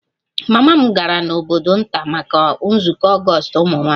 Mama m gara n'obodo nta maka nzukọ ogostu ụmụ nwanyị